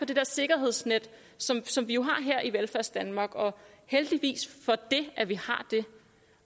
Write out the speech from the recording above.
det der sikkerhedsnet som som vi jo har her i velfærdsdanmark og heldigvis har vi det